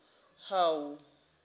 hawu